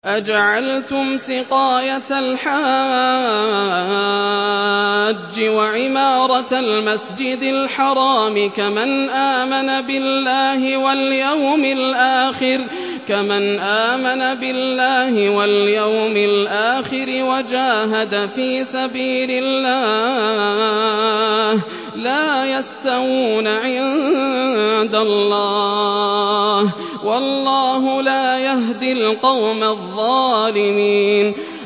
۞ أَجَعَلْتُمْ سِقَايَةَ الْحَاجِّ وَعِمَارَةَ الْمَسْجِدِ الْحَرَامِ كَمَنْ آمَنَ بِاللَّهِ وَالْيَوْمِ الْآخِرِ وَجَاهَدَ فِي سَبِيلِ اللَّهِ ۚ لَا يَسْتَوُونَ عِندَ اللَّهِ ۗ وَاللَّهُ لَا يَهْدِي الْقَوْمَ الظَّالِمِينَ